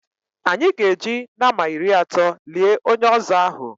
Anyị ga-eji nama iri atọ lie onye ọzọ ahụ.